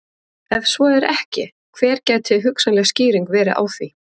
Ef svo er ekki hver gæti hugsanleg skýring verið á því?